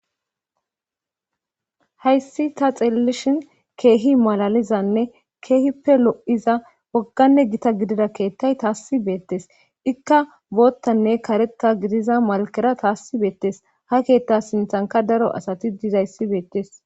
hayssi ta xeelelishin keehi malalizanne keehippe lo7iza wogganne gita gidida keettay taassi beettes ikka boottanne kareta gidiza malkera taassi beettes ha keetta sinthanka daro asati dizayssi beettes